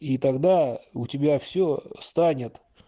и тогда у тебя всё встанет